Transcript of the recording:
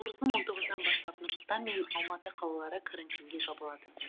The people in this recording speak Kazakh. наурыздың он тоғызынан бастап нұр сұлтан мен алматы қалалары карантинге жабылады